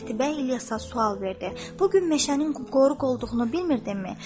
Qətibə İlyasa sual verdi: Bu gün meşənin qoruq olduğunu bilmirdinmi?